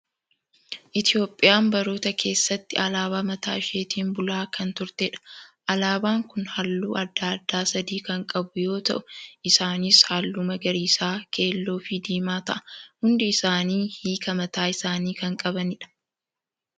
Itoophiyaan baroota keessatti alaabaa mataa ishiitiin bulaa kan turtedha. Alaabaan kun halluu adda addaa sadii kan qabu yoo ta'u, isaanis halluu magariisa, keelloo, fi diimaa ta'a. Hundi isaanii hiikaa mataa isaanii kan qabanidha.